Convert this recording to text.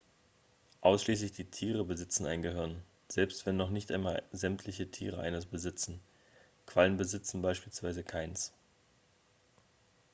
ausschließlich die tiere besitzen ein gehirn selbst wenn noch nicht einmal sämtliche tiere eines besitzen; quallen besitzen beispielsweise keines